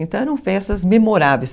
Então eram festas memoráveis.